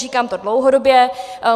Říkám to dlouhodobě.